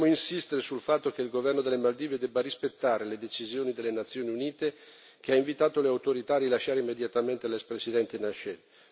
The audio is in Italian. Vogliamo insistere sul fatto che il governo delle Maldive deve rispettare le decisioni delle Nazioni Unite, che hanno invitato le autorità a rilasciare immediatamente l'ex presidente Nasheed.